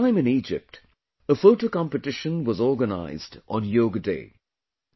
This time in Egypt, a photo competition was organized on Yoga Day